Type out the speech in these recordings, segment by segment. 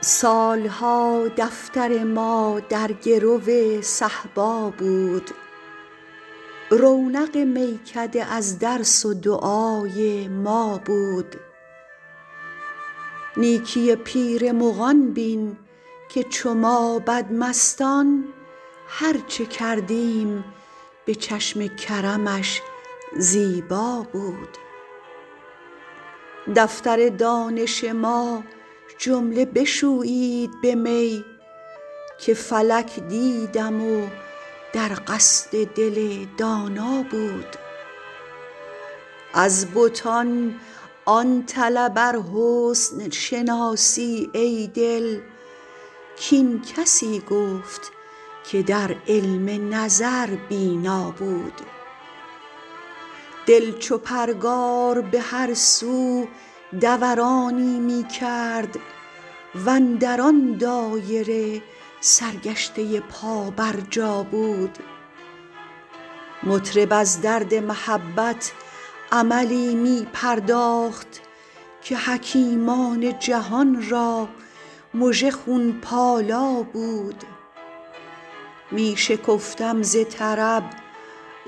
سال ها دفتر ما در گرو صهبا بود رونق میکده از درس و دعای ما بود نیکی پیر مغان بین که چو ما بدمستان هر چه کردیم به چشم کرمش زیبا بود دفتر دانش ما جمله بشویید به می که فلک دیدم و در قصد دل دانا بود از بتان آن طلب ار حسن شناسی ای دل کاین کسی گفت که در علم نظر بینا بود دل چو پرگار به هر سو دورانی می کرد و اندر آن دایره سرگشته پابرجا بود مطرب از درد محبت عملی می پرداخت که حکیمان جهان را مژه خون پالا بود می شکفتم ز طرب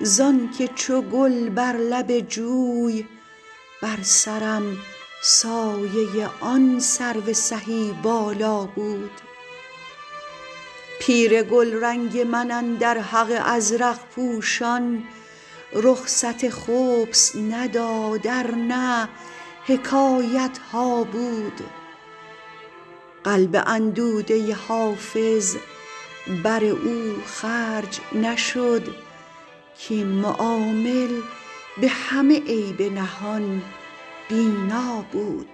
زان که چو گل بر لب جوی بر سرم سایه آن سرو سهی بالا بود پیر گلرنگ من اندر حق ازرق پوشان رخصت خبث نداد ار نه حکایت ها بود قلب اندوده حافظ بر او خرج نشد کاین معامل به همه عیب نهان بینا بود